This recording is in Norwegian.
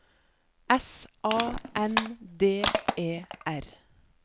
S A N D E R